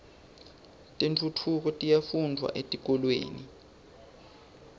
tentfutfuko tiyafundvwa etikolweni